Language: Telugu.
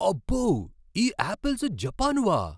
అబ్బో! ఈ యాపిల్స్ జపానువా?